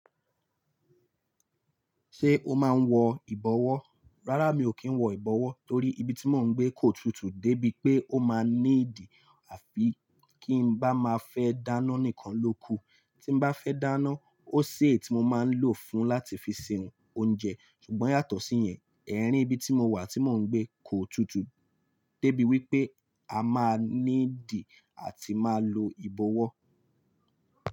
Ṣé o máa ń wọ ìbọwọ́? Rárá, mi ò kí ń wọ ìbọwọ́ torí ibi tí mò ń gbé kò tutù dé bí pé ó máa ní ìdí àfi kí ń bá máa fẹ́ dáná nìkan lóku. Tí ń bá fẹ́ dáná, ó sé è tí mo máa ń lò fún láti fi se ounje. Ṣùgbọ́n yàtọ̀ sí yẹn, ẹ́ rín ibi tí mo wà tí mò ń gbé kò tutù dé bí wí pé a máa ní ìdí àti máa lo ìbọwọ́.